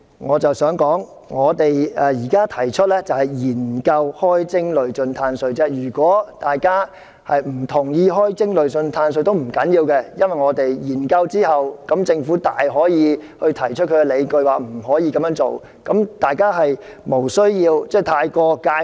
我想指出，我現時提出研究開徵累進"碳稅"，如果大家不同意開徵累進"碳稅"也不要緊，因為政府大可以在研究後提出理據說無法這樣做，因此大家無須對這部分過於介懷。